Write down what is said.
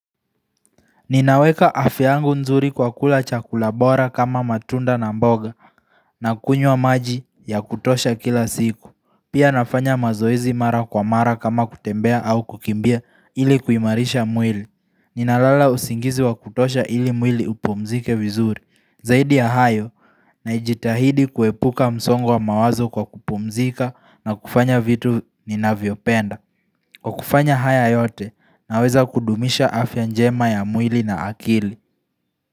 Ninaweka afya yangu nzuri kwa kula chakula bora kama matunda na mboga na kunywa maji ya kutosha kila siku. Pia nafanya mazoezi mara kwa mara kama kutembea au kukimbia ili kuimarisha mwili. Ninalala usingizi wa kutosha ili mwili upumzike vizuri. Zaidi ya hayo najitahidi kuepuka msongo wa mawazo kwa kupumzika na kufanya vitu ninavyopenda. Kwa kufanya haya yote naweza kudumisha afya njema ya mwili na akili.